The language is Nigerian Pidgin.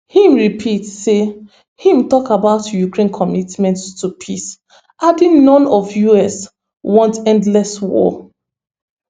im repeat say im tok about ukraine commitment to peace adding none of us want endless war